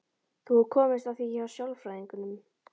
Þú hefur komist að því hjá sálfræðingnum?